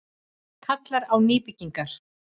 Kallar á nýbyggingar